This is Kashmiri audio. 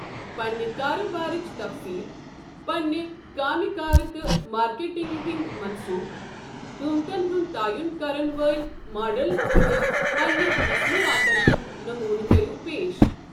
پنِنہِ کاربارٕچ تفصیٖل، پنٕنۍ کامہِ کار تہٕ مارکیٹنگہِ ہٕنٛدۍ منصوٗبہٕ قۭمتَن ہُنٛد تعین کرن وٲلۍ ماڈل تہٕ پنِنہِ مصنوٗعاتَن ہُنٛد نموٗنہٕ کٔرِو پیش۔